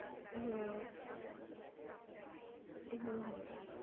હમ્મ હમ્મ હમ્મ